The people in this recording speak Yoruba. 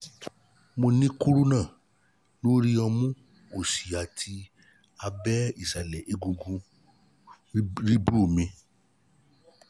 mo ní krúnà ní krúnà lórí ọmú òsì àti ní abẹ́ ìsàlẹ̀ egungun ríìbù mi